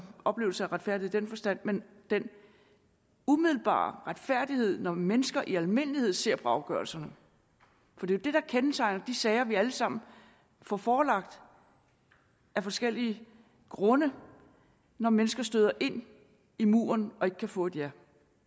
oplevelse af retfærdighed i den forstand men den umiddelbare retfærdighed når mennesker i almindelighed ser på afgørelserne for det er det der kendetegner de sager vi alle sammen får forelagt af forskellige grunde når mennesker støder ind i muren og ikke kan få et ja